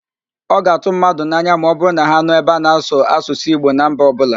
Ọ ga-atụ mmadụ n'anya ma ọbụrụ na ha nụ ebe a na-asụ Asụsụ Igbo na mba ọbụla.